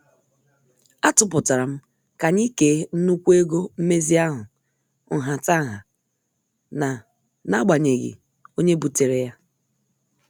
Atuputaram ka anyị kee nnukwu ego mmezi ahụ nhataha n' n'agbanyeghị onye butere ya.